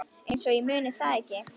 Einsog ég muni það ekki!